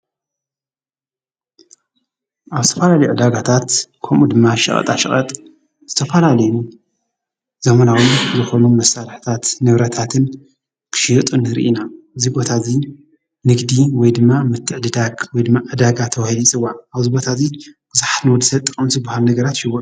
ኣብ ዝተፈላለዩ ዕዳጋታት ከምኡ ድማ ሸቀጣሸቀጥ ዝተፈላለዩ ዘመናዊ ዝኾኑ መሳርሕታት ንብረታትን ክሽየጡ ንሪኢ ኢና፡፡ እዚ ቦታ ንግዲ ወይ ድማ ምትዕድዳግ ወይ ድማ ዕዳጋ ተባሂሉ ይፅዋዕ፡፡ ኣብዚ ቦታ እዚ ንወዲሰብ ተጠቐምቲ ዝባሃሉ ነገራት ሽጉርቲ እዩ፡፡